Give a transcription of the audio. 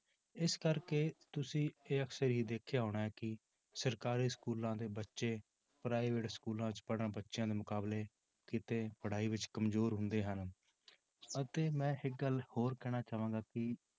ਇਸ ਕਰਕੇ ਤੁਸੀਂ ਇਹ ਅਕਸਰ ਹੀ ਦੇਖਿਆ ਹੋਣਾ ਹੈ ਕਿ ਸਰਕਾਰੀ schools ਦੇ ਬੱਚੇ private schools 'ਚ ਪੜ੍ਹਣ ਬੱਚਿਆਂ ਦੇ ਮੁਕਾਬਲੇ ਕਿਤੇ ਪੜ੍ਹਾਈ ਵਿੱਚ ਕੰਮਜ਼ੋਰ ਹੁੰਦੇ ਹਨ ਅਤੇ ਮੈਂ ਇੱਕ ਗੱਲ ਹੋਰ ਕਹਿਣਾ ਚਾਹਾਂਗਾ ਕਿ